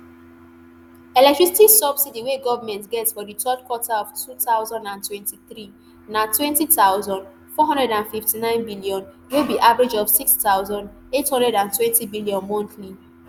electricity subsidy wey goment get for di third quarter of two thousand and twenty-three na ntwenty thousand, four hundred and fifty-nine billion wey be average of nsix thousand, eight hundred and twenty billion monthly